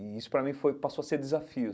E isso, para mim, foi passou a ser desafio.